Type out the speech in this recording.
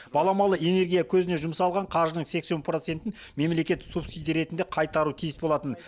баламалы энергия көзіне жұмсалған қаржының сексен процентін мемлекет субсидия ретінде қайтаруы тиіс болатын